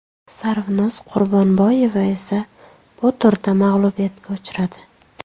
Sarvinoz Qurbonboyeva esa bu turda mag‘lubiyatga uchradi.